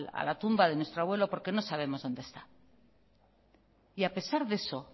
a la tumba de nuestro abuelo porque no sabemos dónde está y a pesar de eso